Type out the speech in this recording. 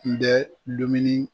N bɛ dumuni